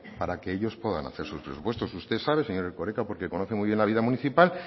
para para que ellos pueden hacer sus presupuestos usted sabe señor erkoreka porque conoce muy bien la vida municipal